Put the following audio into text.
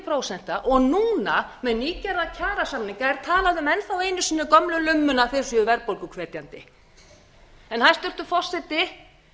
prósenta og núna með nýgerða kjarasamninga er enn þá einu sinni talað um gömlu lummu að þeir séu verðbólguhvetjandi hæstvirtur forseti